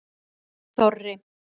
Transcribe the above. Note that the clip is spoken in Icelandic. Þorri